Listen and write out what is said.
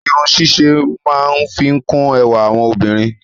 Irun ṣíṣe máa ń fi kún ẹwà àwọn obìnrin.